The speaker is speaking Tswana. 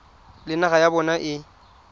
le naga ya bona e